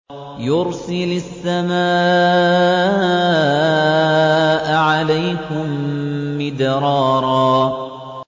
يُرْسِلِ السَّمَاءَ عَلَيْكُم مِّدْرَارًا